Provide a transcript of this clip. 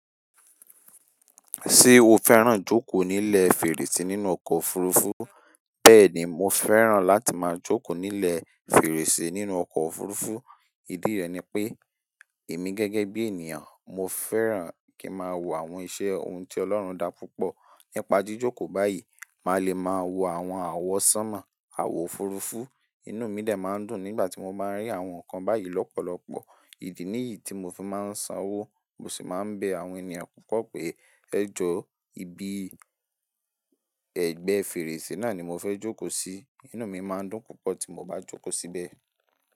Ṣé o fẹ́ràn jókòó nílẹ̀ fèrèsé nínú ọkọ̀ òfurufú? Bẹ́ẹ̀ni, mo fẹ́ràn láti máa jókòó nílẹ̀ fèrèsé nínú ọkọ̀ òfurufú. Ìdí rẹ̀ ni pé èmi gẹ́gẹ́ bí ènìyàn, mo fẹ́ràn kí n máa wo àwọn iṣẹ́ ohun tí Ọlọ́run dá púpọ̀. Nípa jíjókòó báyìí, màá le máa wo àwọn àwọ́ sánmọ̀, àwọ̀ òfurufú. Inú mi dè máa ń dùn nígbà tí mo báa ń rí àwọn nǹkan báyìí lọ́pọ̀lọpọ̀. Ìdí nìyí tí mo fi máa ń san owó, mo sì máa ń bẹ àwọn ènìyàn pupo pé ẹ jọ̀, ibi ẹgbẹ́ fèrèsé náà ni mo fẹ́ jókòó sí. Inú mi máa ń dùn púpọ̀ tí mo bá jókòó síbẹ̀.